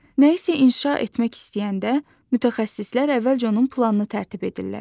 Nəyisə inşa etmək istəyəndə, mütəxəssislər əvvəlcə onun planını tərtib edirlər.